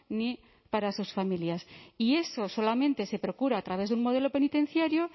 ni para sus familias y eso solamente se procura a través de un modelo penitenciario